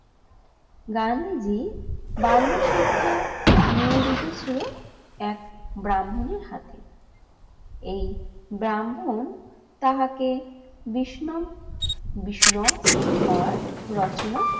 গান্ধীজি বাল্যশিক্ষা নিয়োজিত ছিল এক ব্রাহ্মণের হাতে। এই ব্রাহ্মণ তাহাকে বিষ্ণম বিষ্ণ মার রচনা